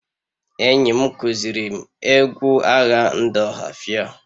Enyim kuzirim egwu agha ndị ohafia